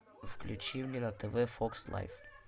включи мне на тв фокс лайф